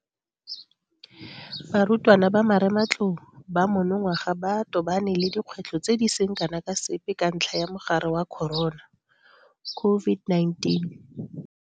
Barutwana ba marematlou ba monongwaga ba tobane le dikgwetlho tse di seng kana ka sepe ka ntlha ya mogare wa corona COVID-19.